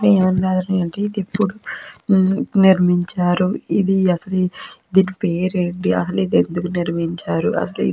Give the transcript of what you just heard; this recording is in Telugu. ఇది ఎప్పుడు నిర్మించారు. ఇది అసలు దీని పేరేంటి అసలు ఇది ఎందుకు నిర్మించారు అసలు --